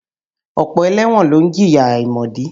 Ọ̀pọ̀ ẹlẹ́wọ̀n ló ń jìyà àìmọ̀dí.